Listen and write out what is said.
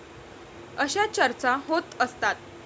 अशा चर्चा होत असतात.